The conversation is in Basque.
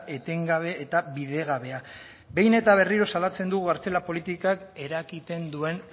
etengabe eta bidegabea behin eta berriro salatzen dugu kartzela politikak eragiten duen